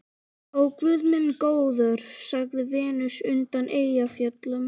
Ó, guð minn góður, sagði Venus undan Eyjafjöllum.